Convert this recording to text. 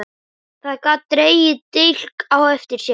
Það gat dregið dilk á eftir sér.